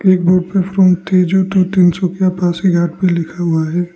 एक बोर्ड पे from Tezu to Tinsukia Pasighat भी लिखा हुआ है।